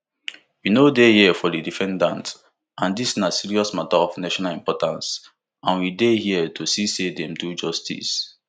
we no dey here for di defendant and dis na serious mata of national importance and we dey here to see say dem do justice